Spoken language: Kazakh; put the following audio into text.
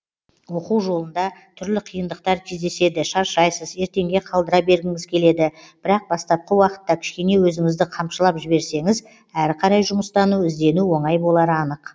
оқу жолында түрлі қиындықтар кездеседі шаршайсыз ертеңге қалдыра бергіңіз келеді бірақ бастапқы уақытта кішкене өзіңізді қамшылап жіберсеңіз әрі қарай жұмыстану іздену оңай болары анық